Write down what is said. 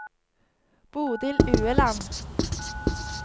Bodil Ueland